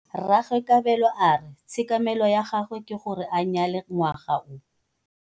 Rragwe Kabelo a re tshekamêlô ya gagwe ke gore a nyale ngwaga o.